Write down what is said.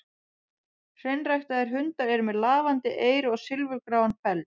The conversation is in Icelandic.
Hreinræktaðir hundar eru með lafandi eyru og silfurgráan feld.